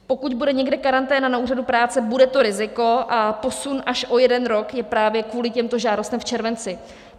Pokud bude někde karanténa na úřadu práce, bude to riziko, a posun až o jeden rok je právě kvůli těmto žádostem v červenci.